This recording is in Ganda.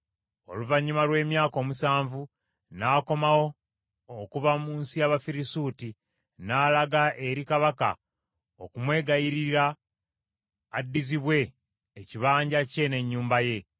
Oluvannyuma lw’emyaka omusanvu, n’akomawo okuva mu nsi y’Abafirisuuti, n’alaga eri kabaka okumwegayirira addizibwe ekibanja kye n’ennyumba ye.